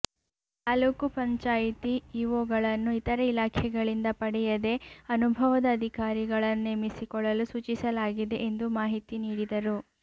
ತಾಲ್ಲೂಕು ಪಂಚಾಯ್ತಿ ಇಒಗಳನ್ನು ಇತರೆ ಇಲಾಖೆಗಳಿಂದ ಪಡೆಯದೇ ಅನುಭವದ ಅಧಿಕಾರಿಗಳನ್ನು ನೇಮಿಸಿಕೊಳ್ಳಲು ಸೂಚಿಸಲಾಗಿದೆ ಎಂದು ಮಾಹಿತಿ ನೀಡಿದರು